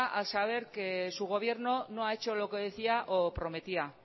al saber que su gobierno no ha hecho lo que decía o prometía